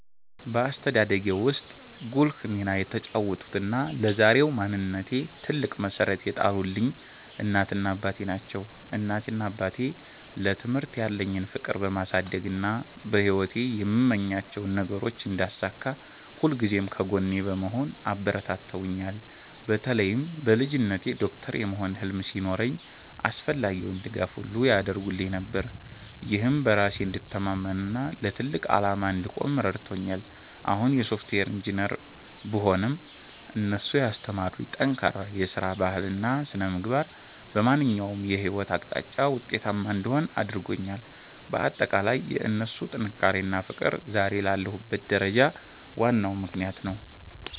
በአስተዳደጌ ውስጥ ጉልህ ሚና የተጫወቱትና ለዛሬው ማንነቴ ትልቅ መሠረት የጣሉልኝ እናቴና አባቴ ናቸው። እናቴና አባቴ ለትምህርት ያለኝን ፍቅር በማሳደግና በሕይወቴ የምመኛቸውን ነገሮች እንዳሳካ ሁልጊዜም ከጎኔ በመሆን አበረታትተውኛል። በተለይም በልጅነቴ ዶክተር የመሆን ህልም ሲኖረኝ አስፈላጊውን ድጋፍ ሁሉ ያደርጉልኝ ነበር፤ ይህም በራሴ እንድተማመንና ለትልቅ ዓላማ እንድቆም ረድቶኛል። አሁን የሶፍትዌር ኢንጂነር ብሆንም፣ እነሱ ያስተማሩኝ ጠንካራ የሥራ ባህልና ሥነ-ምግባር በማንኛውም የሕይወት አቅጣጫ ውጤታማ እንድሆን አድርጎኛል። ባጠቃላይ የእነሱ ጥንካሬና ፍቅር ዛሬ ላለሁበት ደረጃ ዋናው ምክንያት ነው።